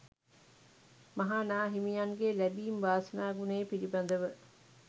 මහා නා හිමියන්ගේ ලැබීම් වාසනා ගුණය පිළිබඳව